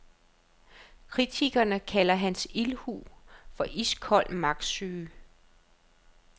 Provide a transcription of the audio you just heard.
Kritikerne kalder hans ildhu for iskold magtsyge.